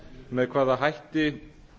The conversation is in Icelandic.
með hvaða hætti